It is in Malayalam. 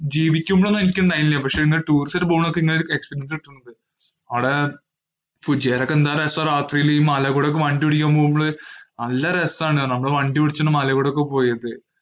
ജീവിക്കുമ്പോള്‍ എനിക്കുണ്ടായില്ല. പക്ഷേ, ടൂറിസത്തിനു പോകുമ്പോഴാ ഇങ്ങനെ ഒര experience കിട്ടണത്. അവിടെ കുജേല ഒക്കെ എന്ത് രസാണ്. രാത്രിയില് ഈ മലേ കൂടൊക്കെ ഈ വണ്ടി ഓടിക്കാന്‍ പോവുമ്പോള്. നല്ല രസാണ് നമ്മള് വണ്ടി ഓടിച്ചു മലെ കൂടെ പോയത്.